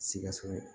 Sikaso